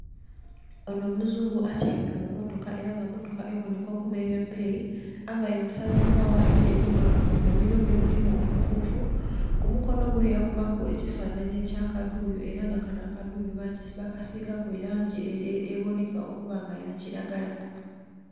Onho omuzungu atyaime mu motoka era nga emotoka eboneka okuba eye beeyi, avaire mu Sala nkwagha endheru nga mu mamiro ge mulimu omukuufu, ku mukonho gwe yakubaku ekifananhi ekya akaduuyu era nga kanho akaduuyu ba kasigaku eboneka okuba nga ya kilagala.